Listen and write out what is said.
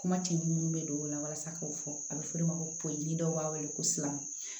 Kuma ti munnu bɛ don o la walasa k'o fɔ a bɛ fɔ o de ma ko politi dɔw b'a wele ko silamɛ